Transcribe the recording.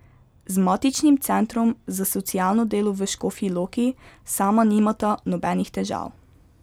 Z matičnim Centrom za socialno delo v Škofji Loki sama nimata nobenih težav.